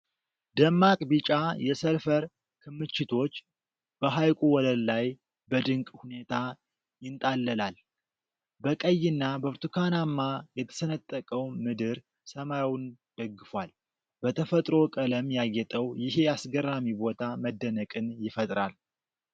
ደማቅ ቢጫ የሰልፈር ክምችቶች በሐይቁ ወለል ላይ በድንቅ ሁኔታ ይንጣለላል። በቀይና በብርቱካናማ የተሰነጠቀው ምድር ሰማዩን ደግፏል። በተፈጥሮ ቀለም ያጌጠው ይሄ አስገራሚ ቦታ መደነቅን ይፈጥራል።